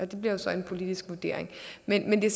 det bliver så en politisk vurdering men det